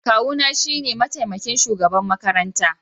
Kawuna shine mataimakin shugaban makaranta.